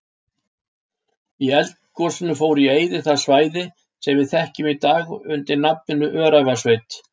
Í eldgosinu fór í eyði það svæði sem við þekkjum í dag undir nafninu Öræfasveit.